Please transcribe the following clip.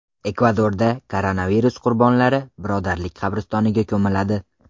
Ekvadorda koronavirus qurbonlari birodarlik qabristoniga ko‘miladi.